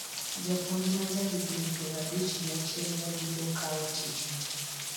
Japuonj ma ja higni piero abich gi achiel no biro kawo tichno